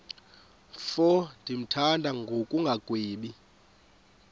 mfo ndimthanda ngokungagwebi